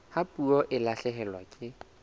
ha puo e lahlehelwa ke